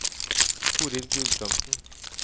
Torill Gulbrandsen